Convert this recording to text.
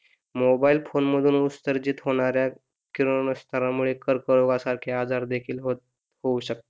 मोनोबेल phone मधून उत्सर्जित होणाऱ्या किरणोस्रावामुळे मुले कर्करोगासारखेच आजार देखील होत होऊ शकतात.